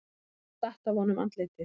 Það datt af honum andlitið.